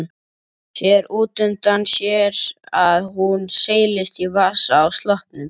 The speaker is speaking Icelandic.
Sér útundan sér að hún seilist í vasa á sloppnum.